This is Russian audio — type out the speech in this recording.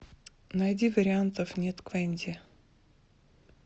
найди вариантов нет квэнди